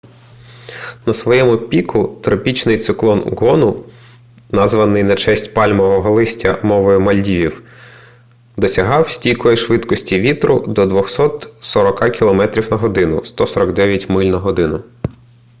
на своєму піку тропічний циклон гону названий на честь пальмового листя мовою мальдівів досягав стійкої швидкості вітру до 240 кілометрів на годину 149 миль на годину